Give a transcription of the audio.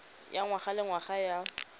ya ngwaga le ngwaga ya